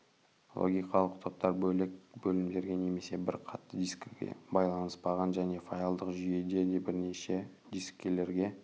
логикалық топтар бөлек бөлімдерге немесе бір қатты дискіге байланыспаған және файлдық жүйе де бірнеше дискілерге